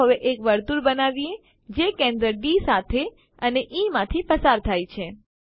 ચાલો હવે એક વર્તુળ બનાવીએ જે કેન્દ્ર ડી સાથે અને ઇ માંથી પસાર થશે